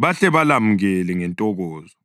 bahle balamukele ngentokozo.